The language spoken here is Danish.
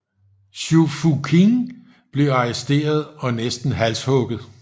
Zhou Fuqing blev arresteret og næsten halshugget